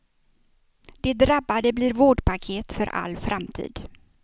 De drabbade blir vårdpaket för all framtid.